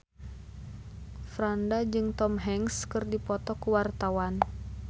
Franda jeung Tom Hanks keur dipoto ku wartawan